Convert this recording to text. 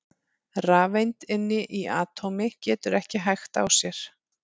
Rafeind inni í atómi getur ekki hægt á sér!